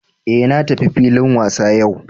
Eh na tafi filin wasa yau